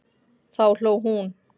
Þá hló hún.